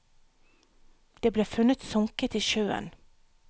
Det ble funnet sunket i sjøen.